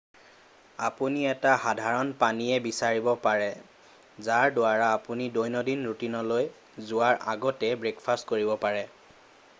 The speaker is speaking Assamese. আপুনি এটা সাধাৰণ পানীয় বিচাৰিব পাৰে যাৰ দ্বাৰা আপুনি দৈনন্দিন ৰুটিনলৈ যোৱাৰ আগতে ব্ৰেকফাষ্ট কৰিব পাৰে